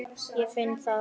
Ég finn það.